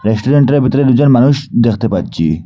রেস্টুরেন্টের ভিতরে দুজন মানুষ দেখতে পাচ্ছি।